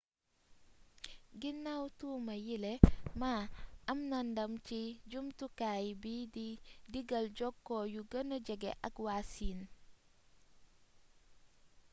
guinaw tuuma yiile ma am na ndam ci jamtukaay bi di diggal jokko yu gëna jege ak waa siin